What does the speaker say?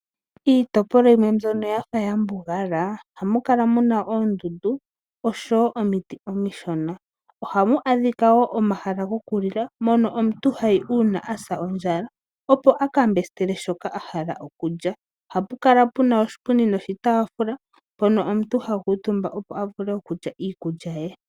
Iitopolwa yimwe mbyono ya fa ya mbugala ohamu kala oondundu oshowo omiti omishona ohamu adhika wo omahala gamwe gokulila mono omuntu ha yi uuna a sa ondjala, opo a ka mbesitele shoka a hala okulya. Ohapu kala pu na oshipundi noshitaafula, mpono omuntu ha kuutumba, opo a vule okulya iikulya ye.